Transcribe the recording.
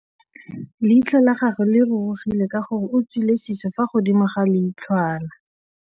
Leitlhô la gagwe le rurugile ka gore o tswile sisô fa godimo ga leitlhwana.